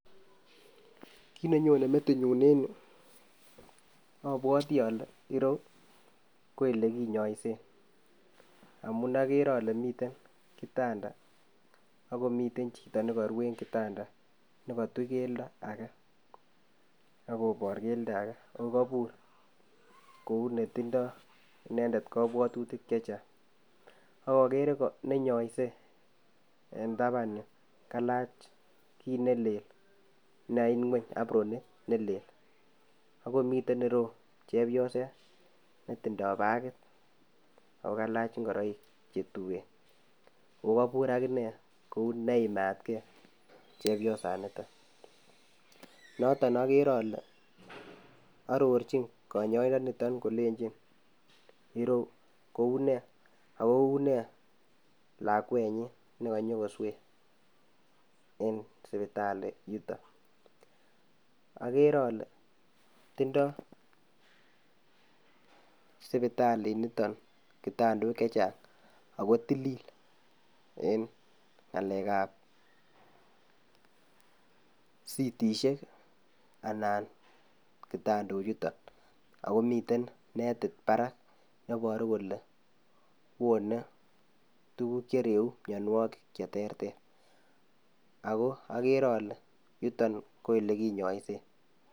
Kit nenyone metinyun en yu abwati ale ireyu ko olekinyoisen amun akere ale miten kitanda akomiten chito nekoru en kitanda nekotuch keldo ake akopor keldo ake akokobur kou netindoo inendet kabwatutik checheng, akokere nenyoise en tapan yu kailach kit neleel nekait ngweny abronit neleel akomiten ireyu chebioset netindoo bakit akokaach ngoroik chetuen akokobur akinee kou neimatke chebiosanito noto akere ale arorchin konyoindonito kolenchin ireu kounee ako unee lakwenyun nekonyokoswe en sipitali yuton akere ale tindoo sipitali nito kitondok akotilil en ng'alekab sitisiek anan kitondochuto akomiten netit parak neboru kole wone tukuk chereu mianwokik cheterter ako akere ale yuto ko olekinyoisen .